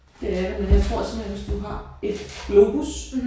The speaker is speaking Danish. Det er det men jeg tror simpelthen hvis du har et globus